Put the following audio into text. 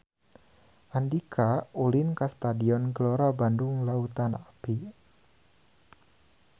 Andika ulin ka Stadion Gelora Bandung Lautan Api